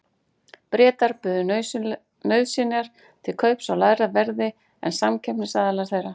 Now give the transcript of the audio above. Bretar buðu nauðsynjar til kaups á lægra verði en samkeppnisaðilar þeirra.